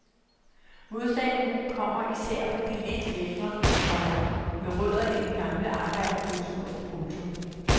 Modstanden kommer især fra de lidt ældre, komma med rødder i den gamle arbejderkultur. punktum